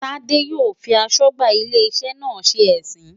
Tade yóò fi aṣọ́gbà ilé iṣẹ́ náà ṣe ẹ̀sín.